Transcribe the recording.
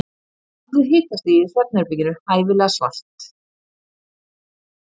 hafðu hitastigið í svefnherberginu hæfilega svalt